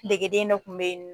Degeden dɔ kun bɛ ye.